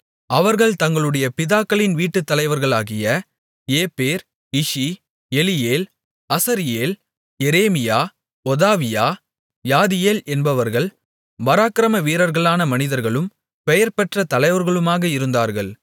அவர்கள் தங்களுடைய பிதாக்களின் வீட்டுத் தலைவர்களாகிய ஏப்பேர் இஷி ஏலியேல் அஸரியேல் எரேமியா ஒதாவியா யாதியேல் என்பவர்கள் பராக்கிரம வீரர்களான மனிதர்களும் பெயர்பெற்ற தலைவர்களுமாக இருந்தார்கள்